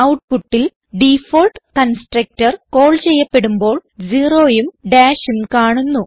ഔട്ട്പുട്ടിൽ default constructor call ചെയ്യപ്പെടുമ്പോൾ zeroഉം ഡാഷ് കാണുന്നു